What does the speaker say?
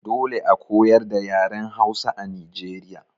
Dole a koyar da yaren Hausa a Nijeriya.